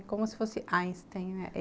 É como se fosse Einstein, né?